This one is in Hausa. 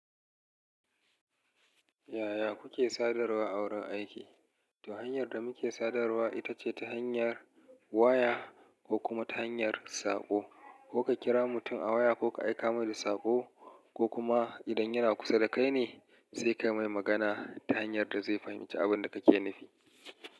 Yaya kuke sadarwa a wurin aiki? Tahanyar da muke sadarwa ita ce ta hanyar waya ko kuma ta hanyar saƙo. Ko ka kira mutum a waya ko ka aika mai da saƙo ko kuma idan yana kusa da kai ne sai ka mai magana ta hanyar da zai fahimci abin da kake nufi.